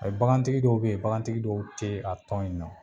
Ayi bakantigi dɔw be yen , bakantigi dɔw te a tɔn in na.